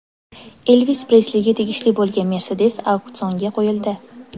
Elvis Presliga tegishli bo‘lgan Mercedes auksionga qo‘yildi.